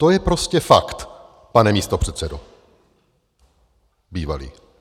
To je prostě fakt, pane místopředsedo, bývalý.